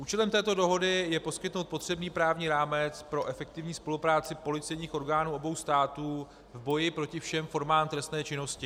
Účelem této dohody je poskytnout potřebný právní rámec pro efektivní spolupráci policejních orgánů obou států v boji proti všem formám trestné činnosti.